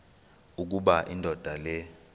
ukuba indoda le